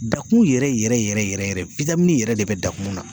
Dakumun yɛrɛ yɛrɛ yɛrɛ yɛrɛ de bɛ dakumun mun na..